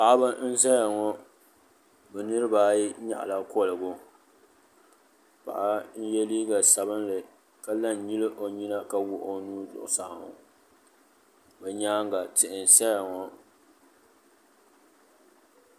Paɣiba n-zaya ŋɔ bɛ niriba ayi nyaɣila kɔligu paɣa n-ye liiga sabinli ka la n-nyili o nyina ka wuɣi o nuu zuɣusaa ŋɔ o nyaaŋa tihi n-saya ŋɔ.